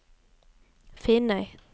Finnøy